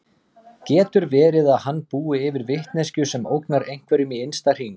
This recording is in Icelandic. Getur verið að hann búi yfir vitneskju sem ógnar einhverjum í innsta hring?